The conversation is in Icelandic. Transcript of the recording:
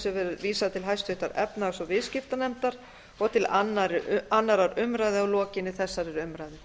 verði vísað til háttvirtrar efnahags og viðskiptanefndar og til annarrar umræðu að lokinni þessari umræðu